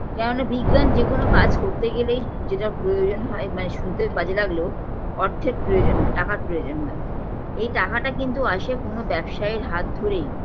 কেননা বিজ্ঞান যেকোন কাজ করতে গেলেই যেটা প্রয়োজন হয় মানে শুনতে বাজে লাগলেও অর্থের প্রয়োজন হয় টাকার প্রয়োজন হয় এই টাকাটা কিন্তু আসে কোনো ব্যবসায়ীর হাত ধরেই